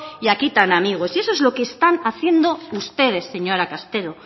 y aquí tan amigos eso es lo que están haciendo ustedes señora castelo